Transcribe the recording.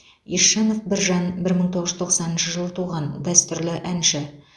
есжанов біржан бір мың тоғыз жүз тоқсаныншы жылы туған дәстүрлі әнші